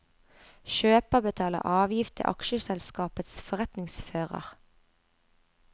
Kjøper betaler avgift til aksjeselskapets forretningsfører.